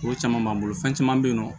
Ko caman b'an bolo fɛn caman bɛ yen nɔ